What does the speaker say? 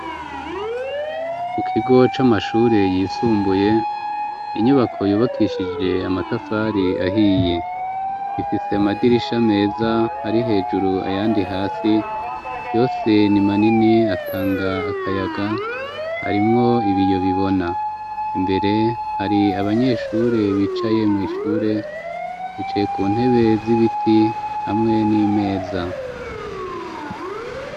Mu kigo c'amashure yisumbuye inyubako yubakishije amatafari ahiye ,ifise amadirisha meza ari hejuru ayandi hasi yose ni manini atanga akayaga arimwo ibiyo bibona, imbere hari abanyeshure bicaye mu ishure bicaye ku ntebe z'ibiti hamwe n'imeza.